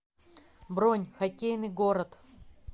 бронь хоккейный город